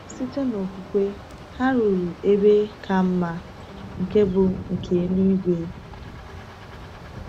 Site n’okwukwe, ha “ruru ebe ka mma, nke bụ nke eluigwe.”